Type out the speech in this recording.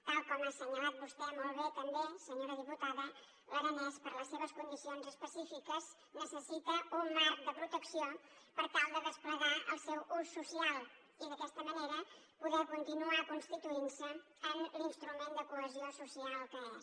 tal com ha assenyalat vostè molt bé també senyora diputada l’aranès per les seves condicions específiques necessita un marc de protecció per tal de desplegar el seu ús social i d’aquesta manera poder continuar constituint se en l’instrument de cohesió social que és